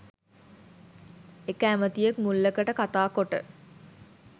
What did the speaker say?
එක ඇමතියෙක් මුල්ලකට කතා කොට